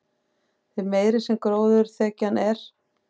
því meiri sem gróðurþekjan er